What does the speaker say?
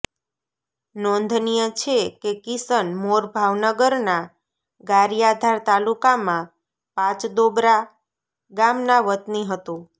નોંધનીય છે કે કિસન મોર ભાવનગરના ગારિયાધાર તાલુકામાં પાચતોબરા ગામના વતની હતો